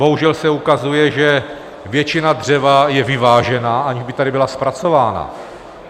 Bohužel se ukazuje, že většina dřeva je vyvážena, aniž by tady byla zpracována.